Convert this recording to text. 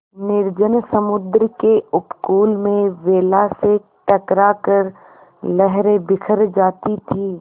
निर्जन समुद्र के उपकूल में वेला से टकरा कर लहरें बिखर जाती थीं